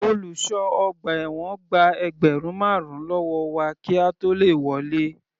Olùṣọ́ ọgbà ẹ̀wọ̀n gba ẹgbẹ́rùn marun lọ́wọ́ wa kí a tó le wọlé.